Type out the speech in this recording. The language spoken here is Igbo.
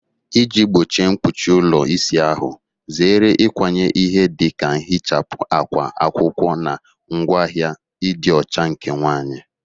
Iji gbochie mkpuchi ụlọ ịsa ahụ, zere ịkwanye ihe dị ka nhichapụ, akwa akwụkwọ, na ngwaahịa ịdị ọcha nke nwanyị.